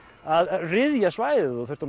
að ryðja svæðið og þurfti